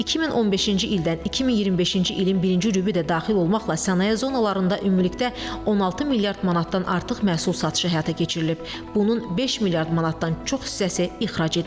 2015-ci ildən 2025-ci ilin birinci rübü də daxil olmaqla sənaye zonalarında ümumilikdə 16 milyard manatdan artıq məhsul satışı həyata keçirilib, bunun 5 milyard manatdan çox hissəsi ixrac edilib.